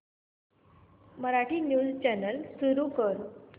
Marathi news channel सुरू कर